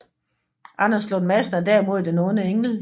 Anders Lund Madsen er derimod den onde engel